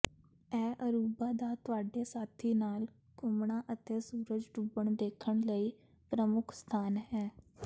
ਇਹ ਅਰੁਬਾ ਦਾ ਤੁਹਾਡੇ ਸਾਥੀ ਨਾਲ ਘੁੰਮਣਾ ਅਤੇ ਸੂਰਜ ਡੁੱਬਣ ਦੇਖਣ ਲਈ ਪ੍ਰਮੁੱਖ ਸਥਾਨ ਹੈ